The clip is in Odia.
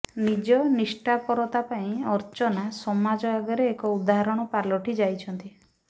ନିଜ ନିଷ୍ଠାପରତା ପାଇଁ ଅର୍ଚ୍ଚନା ସମାଜ ଆଗରେ ଏକ ଉଦାହରଣ ପାଲଟିଯାଇଛନ୍ତି